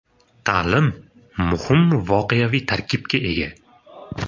Ta’lim muhim g‘oyaviy tarkibga ega.